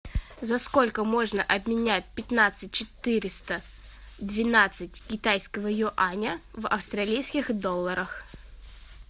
за сколько можно обменять пятнадцать четыреста двенадцать китайского юаня в австралийских долларах